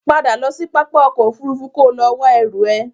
Padà lọ sí pápá ọkọ̀ Òfurufú kò lọ wá ẹrú ẹ!